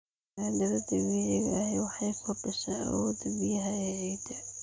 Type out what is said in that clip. Maaddada dabiiciga ahi waxay kordhisaa awoodda biyaha ee ciidda.